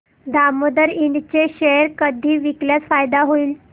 दामोदर इंड चे शेअर कधी विकल्यास फायदा होईल